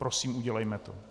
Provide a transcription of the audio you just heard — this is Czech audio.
Prosím, udělejme to.